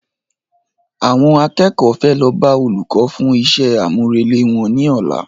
Àwọn akẹ́kọ̀ọ́ fẹ́ lọ bá Olùkọ́ fún iṣẹ́ àmúrelé wọn ní ọ̀la